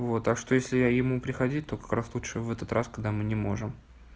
вот так что если я ему приходить то как раз лучше в этот раз когда мы не можем